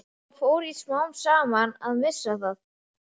Svo fór ég smám saman að missa það.